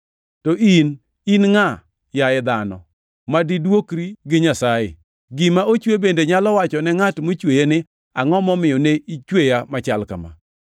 To in, in ngʼa yaye dhano, ma diduokri gi Nyasaye? “Gima ochwe bende nyalo wachone ngʼat mochweye ni, ‘Angʼo momiyo ne ichweya machal kama?’ + 9:20 \+xt Isa 29:16; 45:9\+xt*”